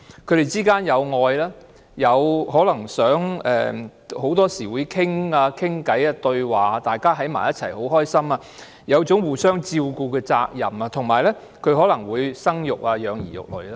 他們之間有愛，很多時候會溝通交談，大家在一起時會很開心，有一種互相照顧的責任，以及他們可能會生育和養兒育女。